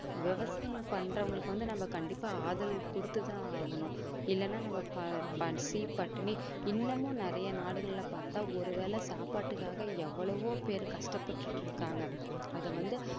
விவசாயம் பண்றவங்களுக்கு வந்து நம்ம கண்டிப்பா ஆதரவு குடுத்து தான் ஆகணும். இல்லன்னா நம்ம பசி பட்டினி இன்னமும் நிறைய நாடுகள்ல பார்த்தால் ஒரு வேலை சாப்பாட்டுக்காக எவ்வளவோ பேர் கஷ்டப்பட்டுக்கிட்டு இருக்காங்க. அது வந்து